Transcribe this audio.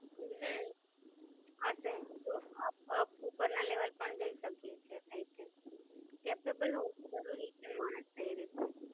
હમ સાચે જ, જો આ ઉપર ના Level પણ જઈ શકાય છે. Catchable હોવું જરૂરી છે માણસ ને એ રીત નું.